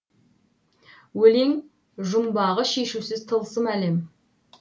өлең жұмбағы шешусіз тылсым әлем